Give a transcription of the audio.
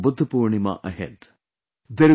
There is also Buddha Purnima ahead